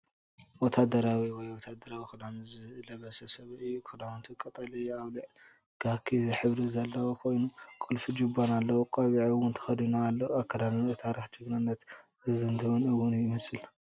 ወተሃደራዊ ወይ ወተሃደራዊ ክዳን ዝለበሰ ሰብ እዩ። ክዳውንቱ ቀጠልያ ኣውሊዕ/ካኪ ሕብሪ ዘለዎ ኮይኑ፡ ቁልፊን ጁባን ኣለዎ። ቆቢዕ እውን ተኸዲኑ ኣሎ። ኣካዳድንኡ ታሪክን ጅግንነትን ዘዘንትውን እውን ይመስል፡፡